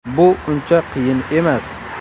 Bu uncha qiyin emas”.